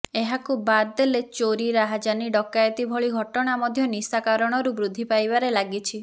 ଏହାକୁ ବାଦଦେଲେ ଚୋରି ରାହାଯାନୀ ଡକାୟତି ଭଳି ଘଟଣା ମଧ୍ୟ ନିଶା କାରଣରୁ ବୃଦ୍ଧି ପାଇବାରେ ଲାଗିଛି